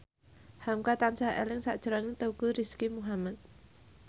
hamka tansah eling sakjroning Teuku Rizky Muhammad